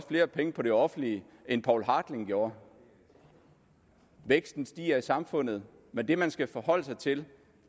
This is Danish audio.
flere penge på det offentlige end poul hartling gjorde væksten stiger i samfundet men det man skal forholde sig til